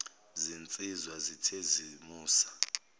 zinsizwa zithe zimusa